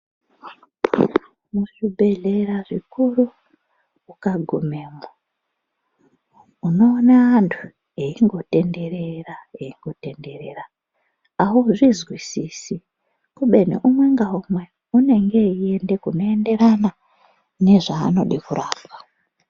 Muzvibhedhleya zvikuru ukagumemwo unoona antu eingotenderera eingotenderera auzvizwisisi kubeni umwe ngaumwe unenge einde kunoenderana nezvaanoda kurapwa.